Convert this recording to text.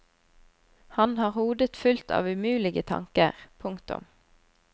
Han har hodet fullt av umulige tanker. punktum